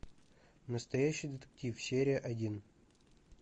настоящий детектив серия один